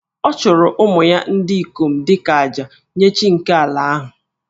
Ọ chụrụ ụmụ ya ndị ikom dị ka àjà nye chi nke ala ahụ